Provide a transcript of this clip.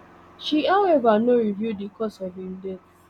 she however no reveal di cause of im death